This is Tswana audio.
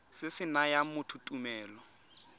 se se nayang motho tumelelo